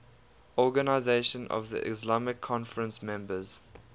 organisation of the islamic conference members